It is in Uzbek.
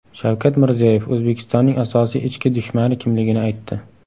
Shavkat Mirziyoyev O‘zbekistonning asosiy ichki dushmani kimligini aytdi .